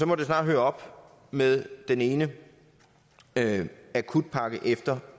må snart høre op med den ene akutpakke efter